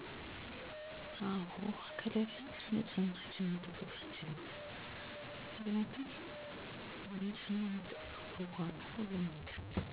አካባቢው ላይ ያለው የውሃ አቅርቦት ሁኔታ ከባለፉት አመታት ጋር ሲነፃፀር በጣም ከባድ ነው።